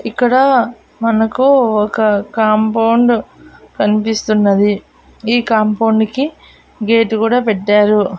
ఇక్కడ మనకు ఒక కాంపౌండ్ కన్పిస్తున్నది ఈ కాంపౌండు కి గేట్ కూడా పెట్టారు.